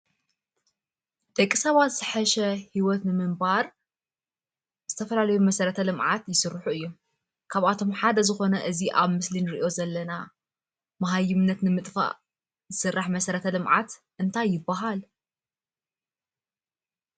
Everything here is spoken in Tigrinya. ደቂ ሰባት ዝሓሸ ሂወት ንምንባር ዝተፈላለዩ መሰረተ ልምዓት ይስርሑ እዩም። ካብኣቶም ሓደ ዝኾነ እዚ ኣብ ምስሊ እንርእዮ ዘለና ማሃይምነት ንምጥፋእ ዝስራሕ መሰረተ ልምዓት እንታይ ይባሃል?